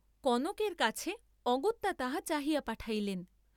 কনকের কাছে অগত্যা তাহা চাহিয়া পাঠাইলেন।